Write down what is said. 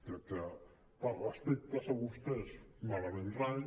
crec que per respecte a vostès malament rai